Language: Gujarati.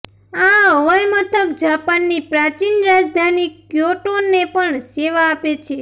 આ હવાઈમથક જાપાનની પ્રાચીન રાજધાની ક્યોટોને પણ સેવા આપે છે